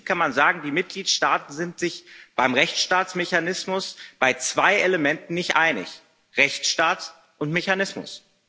Im Prinzip kann man sagen, die Mitgliedstaaten sind sich beim Rechtsstaatsmechanismus bei zwei Elementen nicht einig Rechtsstaat und Mechanismus.